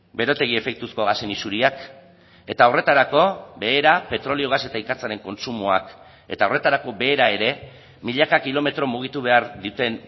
berotegi efektuzko gasen isuriak eta horretarako behera petrolio gas eta ikatzaren kontsumoak eta horretarako behera ere milaka kilometro mugitu behar duten